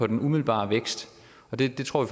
den umiddelbare vækst det tror